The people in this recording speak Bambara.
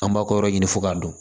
An b'a ko yɔrɔ ɲini fo k'a dɔn